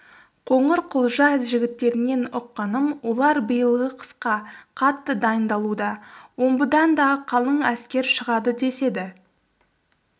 қоңырқұлжа жігіттерінен ұққаным олар биылғы қысқа қатты дайындалуда омбыдан да қалың әскер шығады деседі